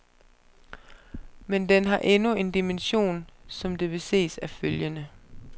Men den har endnu en dimension, som det vil ses af følgende.